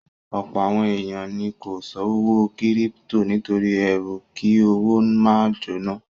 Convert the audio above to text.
Ọ̀pọ̀ àwọn èèyàn ni kò ṣòwò kírípítò nítorí ẹrú kí owó máa jóná